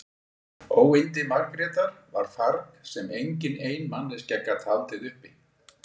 Óyndi Margrétar var farg sem engin ein manneskja gat haldið uppi.